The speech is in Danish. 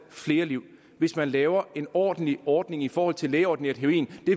flere liv hvis man laver en ordentlig ordning i forhold til lægeordineret heroin